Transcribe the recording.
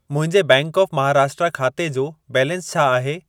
मुंहिंजे bank of Maharashtra खाते जो बैलेंस छा आहे?